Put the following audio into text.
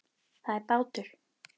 Það er bátur.